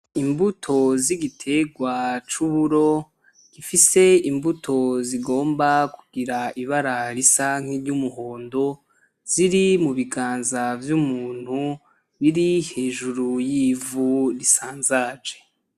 Imbuto zigitegwa cuburo gifise imbuto zigomba kugira ibara risa nkiryumuhondo ziri mubiganza vyumuntu biri hejuru yivu risanzaje.